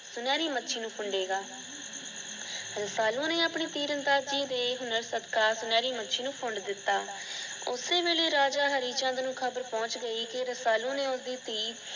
ਸੁਨਹਿਰੀ ਮੱਛੀ ਨੂੰ ਪਿਂਡੇਗਾ l ਰਸਾਲੂ ਨੇ ਆਪਣੀ ਤੀਰਨਦਾਜ਼ੀ ਦੇ ਹੁਨਰ ਸਦਕਾ ਸੁਨਹਿਰੀ ਮੱਛੀ ਨੂੰ ਫੰਡ ਦਿੱਤਾ। ਓਸੇ ਵੇਲੇ ਰਾਜਾ ਹਰੀਚੰਦ ਕੋਲੇ ਖ਼ਬਰ ਪਹੁੰਚ ਗਈ ਕਿ ਰਸਾਲੂ ਨੇ ਉਸਦੀ ਧੀ